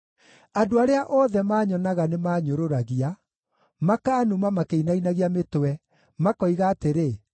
Andũ arĩa othe maanyonaga nĩmanyũrũragia; makaanuma makĩinainagia mĩtwe, makoiga atĩrĩ: